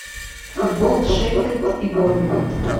футбол шеффилд и борнмут